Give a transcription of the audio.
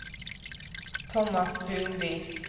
Tomas Sundby